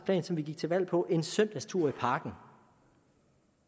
plan som vi gik til valg på en søndagstur i parken